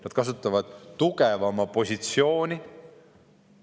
Nad kasutavad tugevama positsiooni.